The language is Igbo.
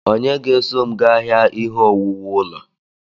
Onye ga-eso m gaa ahịa ihe owuwu ulo?